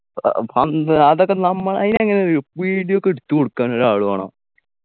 ഏർ പന്ത് അതൊക്കെ നമ്മ അയിനങ്ങനൊരു video ഒക്കെ എടുത്തു കൊടുക്കാനൊരു ആള് വേണം